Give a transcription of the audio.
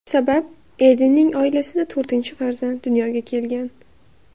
Sabab Edenning oilasida to‘rtinchi farzand dunyoga kelgan.